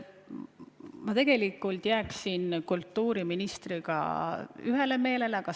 Ma tegelikult jääksin ühele arvamusele kultuuriministriga.